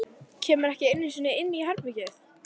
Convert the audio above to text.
Kemur ekki einu sinni inn í herbergið.